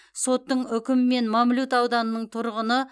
соттың үкімімен мамлют ауданының тұрғыны